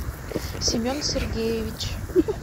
семен сергеевич